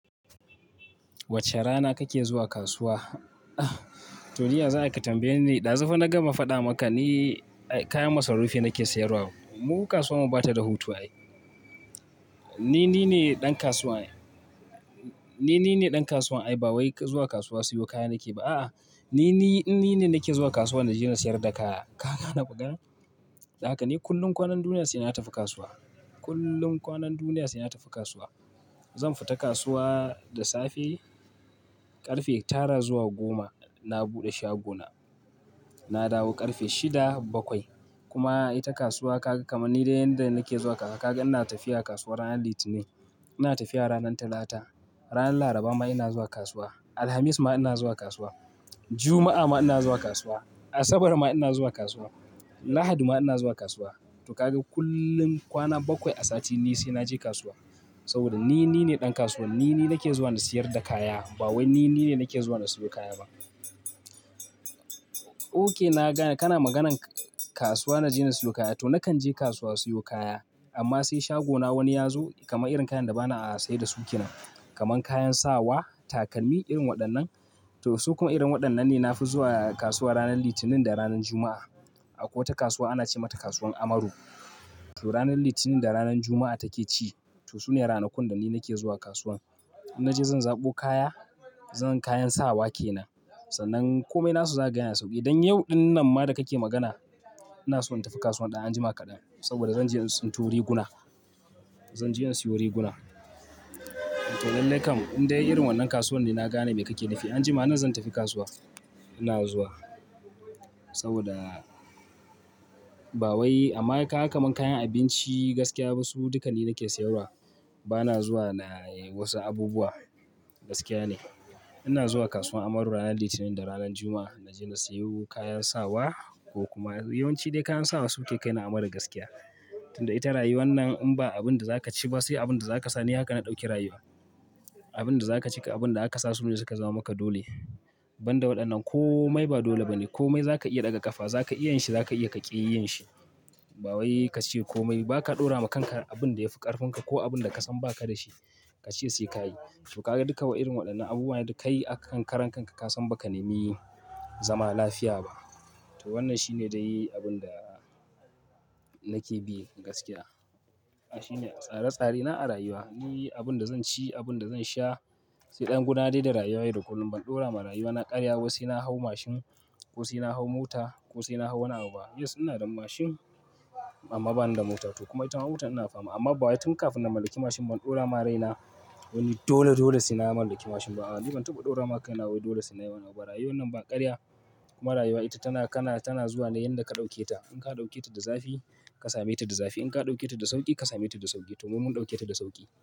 Wace rana kake zuwa kasuwa? To, ni yaza ayi ka tambaye ni, ɗazufa na gama faɗa maka ni kayan masarufi nake siyarwa. Mu kasuwan mu bata da hutu ai. Ni, nine ɗan kasuwan ai. Ni, ni ne ɗan kasuwan ai, ba wai ka zuwa kasuwa siyo kaya nake ba. A'a, ni, ni, in nine nake zuwa kasuwa na je na siyar da kaya. Ka gane maganar, don haka ni kullum dul kwanan duniya sai na tafi kasuwa. Kullum kwanan duniyarsu ina tafi kasuwa. Zan fita kasuwa da safe, ƙarfe tara zuwa goma. Na buɗe shagona, na dawo ƙarfe shida bakwai. Kuma ita kasuwa kaga kamar ni dai yanda nake zuwa kasuwa, kaga ina tafiya kasuwa ranar Litinin, ina tafiya ranar Talata, ranar Laraba ma ina zuwa kasuwa, Alhamis ma ina zuwa kasuwa, Juma'a ma ina zuwa kasuwa, Asabar ma ina zuwa kasuwa, Lahadi ma ina zuwa kasuwa. To kaga kullum kwana bakwai a sati ni sai na je kasuwa. Saboda ni, ni nine ɗan kasuwan. Ni, ni nake zuwa na siyar da kaya, ba wai ni, ni ne nake zuwa na sayo kaya ba. Ok, nagane kana maganan kasuwa na je na siyo kaya. To nakan je kasuwa sayo kaya, amma sai shagona wani ya zo kama irin kayan da bana a saidasu kenan. Kaman kayan sawa, takalmi irin waɗannan. To su kuma irin waɗannan ne na fi zuwa kasuwa ranar Litinin da ranar Juma'a. Akwai wata kasuwa ana ce mata kasuwar Amaru. To ranar Litinin da ranar Juma'a take ci. To su ne ranakun da ni nake zuwa kasuwan. In naje zan zaɓo kaya, zan kayan sawa ke nan. Sannan komai nasu zakaga yana da sauki. Dan yau dinnan ma da kake magana, inaso in tafi kasuwan dan anjima kadan saboda zan je in tsinto riguna. Zan je in siyo riguna. Toh lallai kam indai irin wannan kasuwan ne, nagane mai kake nufi anjiman nan zan tafi kasuwa. Ina zuwa. Saboda ba wai amma kaga kaman kayan abinci gaskiya wasu duka ni nake sayarwa. Bana zuwa na wasu abubuwa gaskiya ne. Ina zuwa kasuwar Amaru ranar Litinin da ranar Juma'a. Naje na siyo kayan sawa ko kuma yawanci dai kayan sawa su ke kaini Amaru gaskiya. Tunda ita rayuwan nan in ba abin da za ka ci ba sai abin da zaka sa ne haka na ɗauki rayuwa. Abin da za ka ci da abin da zaka sa, sune suka zaman maka dole. Banda waɗannan komai ba dole bane. Komai za ka iya ɗaga ƙafa, za ka iya yinshi, za ka iya kaƙi yinshi. Ba wai ka ce komai ba ka ɗora ma kanka abin da yafi ƙarfin ka ko abin da ka san ba ka da shi. Ka ce sai ka yi. To kaga duka wa irin waɗannan abubuwa da kai akan karan kanka ka san ba ka nemi zama lafiya ba. To wannan shi ne dai abin da nake bi gaskiya. Hake shine tsare tsare na a rayuwa. Ni abin da zan ci, abin da zan sha, sai ɗan gona dai da rayuwaye da kullum ban ɗora ma rayuwana ƙarya ba wai sai na hau mashin ko sai na hau mota ko sai ina hau wani abu ba. Yes ina da mashin amma bani da mota. To kuma ita mota ina fama. Amma ba wai tun kafin na mallaki mashin ban ɗora ma raina wai dole dole sai na mallaki mashin ba. A'a, ni ban taɓa ɗora ma kaina wai dole sai na yi wani abu ba. Rayuwan nan ba ƙarya. Kuma rayuwa ita tana kana zuwa ne yanda ka dauketa. In ka ɗauke ta da zafi ka same ta da zafi. In ka ɗauke ta da sauƙi ka same ta da sauƙi. To mu mun ɗauke ta da sauƙi.